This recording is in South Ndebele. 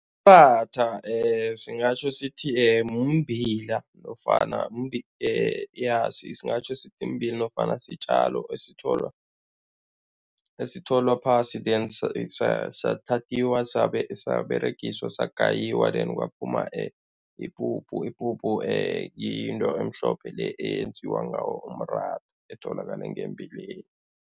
singatjho sithi mumbila nofana ja singatjho sithi mbila nofana sitjalo esitholwa esitholwa phasi then sathathiwa, saberegiswa, sagayiwa then kwaphuma ipuphu. Ipuphu yinto emhlophe le eyenziwa ngawo umratha, etholakala ngembileni.